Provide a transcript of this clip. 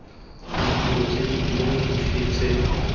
ditiro tse dingwe dife tse